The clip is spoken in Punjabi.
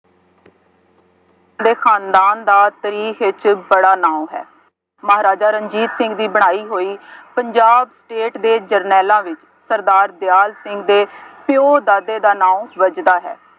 ਦੇ ਖਾਨਦਾਨ ਦਾ ਤਰੀਖ ਵਿੱਚ ਬੜਾ ਨਾਂ ਹੈ। ਮਹਾਰਾਜਾ ਰਣਜੀਤ ਸਿੰਘ ਦੀ ਬਣਾਈ ਹੋਈ ਪੰਜਾਬ ਸਟੇਟ ਦੇ ਜਰਨੈਲਾਂ ਵਿੱਚ ਸਰਦਾਰ ਦਿਆਲ ਸਿੰਘ ਦੇ ਪਿਉ ਦਾਦੇ ਦਾ ਨਾਂਉ ਵੱਜਦਾ ਹੈ।